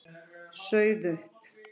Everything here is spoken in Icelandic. Sauð upp.